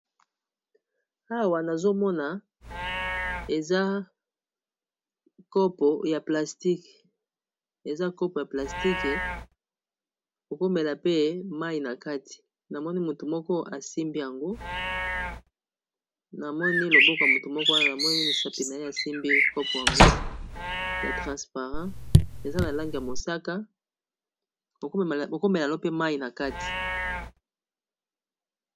Awa, nazo mona eza kopo ya plastike. Okoki komela pe mai na kati. Na moni motu moko asimbi yango. Namoni loboķo ya motu moko wana. Na moni misapi naye asimbi kopo yango ya transparent. Eza na langi ya mosaka okomela mpe mai na kati.